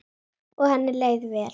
Og henni leið vel.